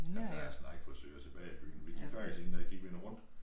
Jamen der er snart ikke frisører tilbage i byen vi gik faktisk en dag gik vi en runde